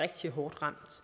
rigtig hårdt ramt